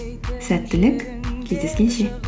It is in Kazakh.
сәттілік кездескенше